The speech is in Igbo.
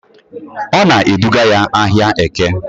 Ọ na-eduga ya n'ahịa Eke